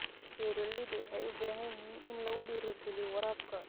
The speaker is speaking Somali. Beeralayda waxay u baahan yihiin in lagu dhiirigeliyo waraabka.